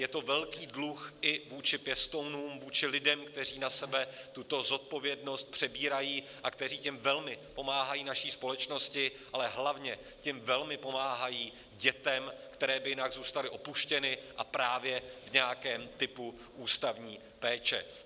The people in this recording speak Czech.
Je to velký dluh i vůči pěstounům, vůči lidem, kteří na sebe tuto zodpovědnost přebírají a kteří tím velmi pomáhají naší společnosti, ale hlavně tím velmi pomáhají dětem, které by jinak zůstaly opuštěné a právě v nějakém typu ústavní péče.